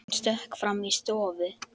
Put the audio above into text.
Hann stökk fram í stofu.